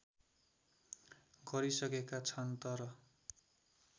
गरिसकेका छन् तर